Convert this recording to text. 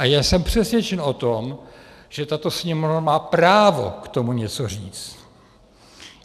A já jsem přesvědčen o tom, že tato Sněmovna má právo k tomu něco říct.